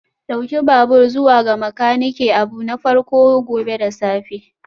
Ɗauki babur zuwa ga makaniki abu na farko gobe da safe